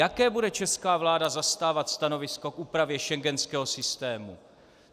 Jaké bude česká vláda zastávat stanovisko k úpravě schengenského systému?